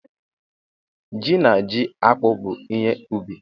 Ji na ji akpụ bụ ihe ubi.